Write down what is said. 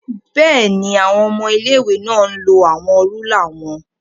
Bẹẹni, awọn ọmọ ilé-ìwé náà lo awọn rúlà wọn